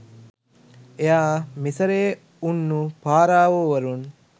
එයා මිසරයේ උන්නු පාරාවෝ වරුන්